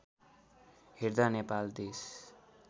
हेर्दा नेपाल देश